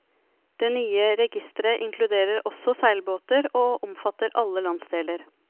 Det nye registeret inkluderer også seilbåter, og omfatter alle landsdeler.